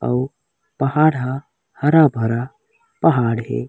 अउ पहाड़ ह हरा-भरा पहाड़ हे।